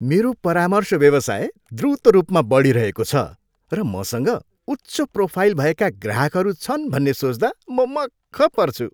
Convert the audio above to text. मेरो परामर्श व्यवसाय द्रुत रूपमा बढिरहेको छ र मसँग उच्च प्रोफाइल भएका ग्राहकहरू छन् भन्ने सोच्दा म मक्ख पर्छु।